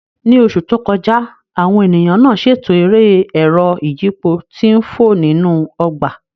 Ní oṣù tó kọjá, àwọn ènìyàn náà ṣètò eré ẹ̀rọ ìyípo tí ń fò nínú ọgbà